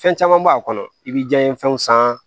Fɛn caman b'a kɔnɔ i bɛ jiyan fɛnw san